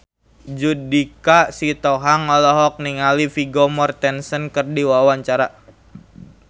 Judika Sitohang olohok ningali Vigo Mortensen keur diwawancara